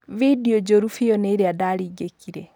"Vindionjũru biũ nĩĩria ndaringĩkire.